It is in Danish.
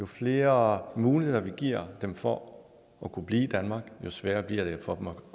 flere muligheder vi giver dem for at kunne blive i danmark jo sværere bliver det for